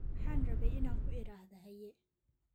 Waxaan rabay in aan ku idhaahdo haye